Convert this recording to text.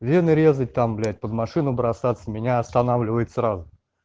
вены резать там блять под машину бросаться меня останавливает сразу